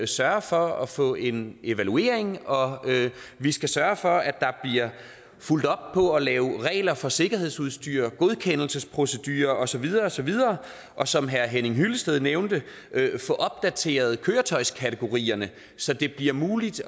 sørge for at få en evaluering og vi skal sørge for at der bliver fulgt op på at lave regler for sikkerhedsudstyr godkendelsesprocedurer og så videre og så videre og som herre henning hyllested nævnte få opdateret køretøjskategorierne så det bliver muligt